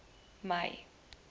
mei